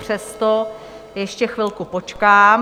Přesto ještě chvilku počkám.